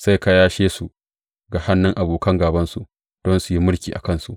Sai ka yashe su ga hannun abokan gābansu don su yi mulki a kansu.